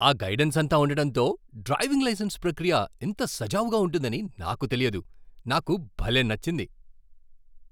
ఆ గైడెన్స్ అంతా ఉండడంతో డ్రైవింగ్ లైసెన్స్ ప్రక్రియ ఇంత సజావుగా ఉంటుందని నాకు తెలియదు. నాకు భలే నచ్చింది!